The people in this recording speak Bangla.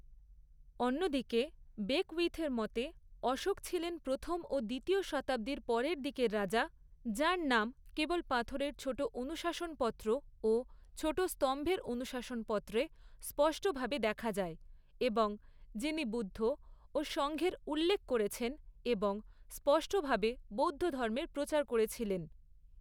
অন্যদিকে, বেকউইথের মতে, অশোক ছিলেন প্রথম ও দ্বিতীয় শতাব্দীর পরের দিকের রাজা, যাঁর নাম কেবল পাথরের ছোট অনুশাসনপত্র ও ছোট স্তম্ভের অনুশাসনপত্রে স্পষ্টভাবে দেখা যায় এবং যিনি বুদ্ধ ও সংঘের উল্লেখ করেছেন এবং স্পষ্টভাবে বৌদ্ধধর্মের প্রচার করেছিলেন।